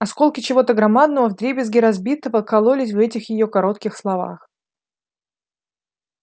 осколки чего-то громадного вдребезги разбитого кололись в этих её коротких словах